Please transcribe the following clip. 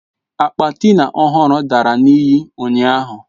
Akpa Tina ọhụrụ dara na iyi ụnyahụ.